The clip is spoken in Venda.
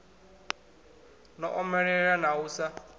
no omelela na u sa